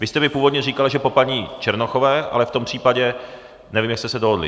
Vy jste mi původně říkal, že po paní Černochové, ale v tom případě, nevím, jak jste se dohodli.